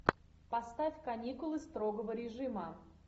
поставь каникулы строгого режима